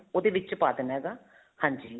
ਉਹਦੇ ਵਿੱਚ ਪਾ ਦੇਣਾ ਹੇਗਾ ਹਾਂਜੀ